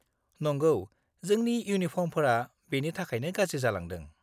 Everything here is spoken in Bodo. नंगौ, जोंनि इउनिफर्मफोरा बेनि थाखायनो गाज्रि जालांदों।